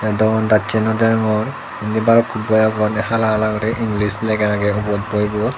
te doyandassey no deyongor indi baluk boi agon hala hala guri english lega agey ubot boibot.